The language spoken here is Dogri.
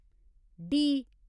डी